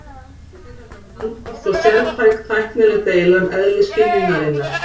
Inn í þetta blandast svo sértæk tæknileg deila um eðli skynjunarinnar.